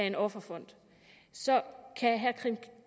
en offerfond kan herre